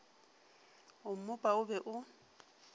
o mmopa o be o